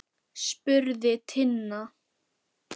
spurði Tinna.